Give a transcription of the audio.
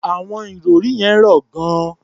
Àwọn ìrọ̀rí yẹn rọ̀ gan-an.